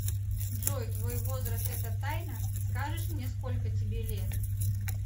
джой твой возраст это тайна скажешь мне сколько тебе лет